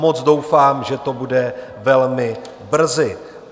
Moc doufám, že to bude velmi brzy.